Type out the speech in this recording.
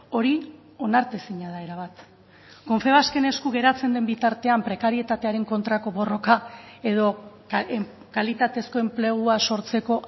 hori onartezina da erabat confebasken esku geratzen den bitartean prekarietatearen kontrako borroka edo kalitatezko enplegua sortzeko